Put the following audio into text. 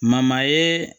ye